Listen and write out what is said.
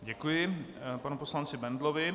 Děkuji panu poslanci Bendlovi.